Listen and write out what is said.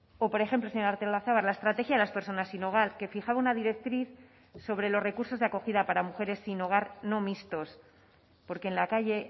o por ejemplo señora artolazabal la estrategia de las personas sin hogar que fijaba una directriz sobre los recursos de acogida para mujeres sin hogar no mixtos porque en la calle